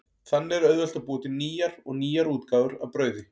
Þannig er auðvelt að búa til nýjar og nýjar útgáfur af brauði.